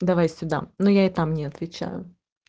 давай сюда ну я и там не отвечаю